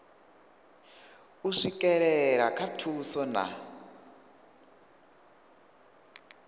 u swikelela kha thuso na